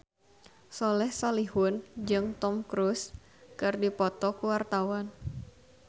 Soleh Solihun jeung Tom Cruise keur dipoto ku wartawan